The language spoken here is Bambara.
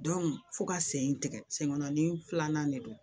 fo ka sen tigɛ sen kɔnɔni filanan de don